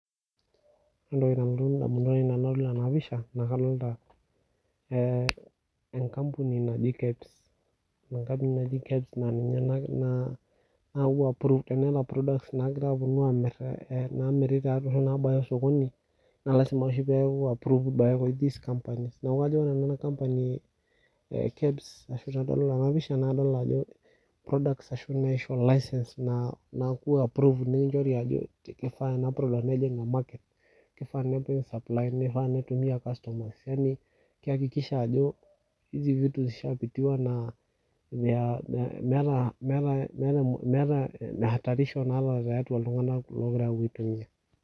Ore entoki nalotu ndamunot aainei tenedol ena pisha naa kadoota enkampuni naji KEB enkampuni e KEBS naa ninye naya prove nena products naagirae aapuo aamir te sokoni naa lazima oshi peeku approved this company. Neeku kajo nanu ore enkampuni e KEBS ashuu tenadol ena pisha naa kadol ajo ore KEBS naa enkampuni oshii naishooyo laisens ashuu naaku approved ajo keishaa nejing'u ina product nejing market keifaa nepuoi aai supply kehakikisho ajo meeta hatarisho too ltung'anak oopuo aaitumia.